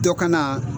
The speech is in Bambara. Dɔ kana